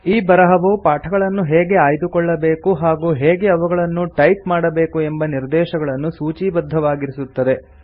ಈ ಬರಹವು ಪಾಠಗಳನ್ನು ಹೇಗೆ ಆಯ್ದುಕೊಳ್ಳಬೇಕು ಹಾಗೂ ಹೇಗೆ ಅವುಗಳನ್ನು ಟೈಪ್ ಮಾಡಬೇಕು ಎಂಬ ನಿರ್ದೇಶಗಳನ್ನು ಸೂಚೀಬದ್ಧವಾಗಿರಿಸುತ್ತದೆ